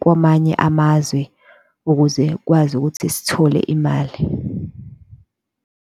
kwamanye amazwe ukuze kwazi ukuthi sithole imali.